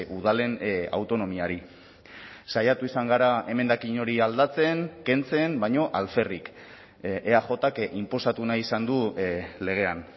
udalen autonomiari saiatu izan gara emendakin hori aldatzen kentzen baina alferrik eajk inposatu nahi izan du legean